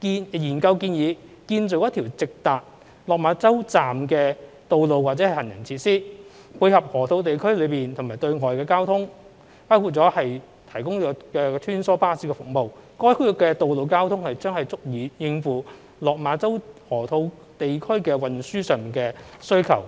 研究建議建造一條直達落馬洲站的道路或行人設施，配合河套地區內和對外的公共交通服務，包括提供穿梭巴士服務，該區的道路交通將足以應付落馬洲河套地區的運輸需求。